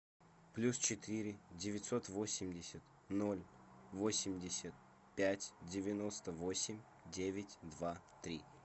плюс четыре девятьсот восемьдесят ноль восемьдесят пять девяносто восемь девять два три